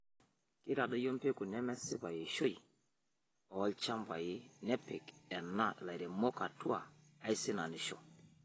Keitadoyio mpekun nemesipa eishoi oo lchambai nepik ena lairemok atua aisinanisho